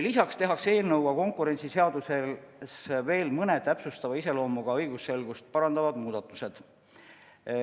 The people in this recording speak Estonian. Lisaks tehakse selle eelnõuga konkurentsiseaduses veel mõned täpsustava iseloomuga, õigusselgust parandavad muudatused.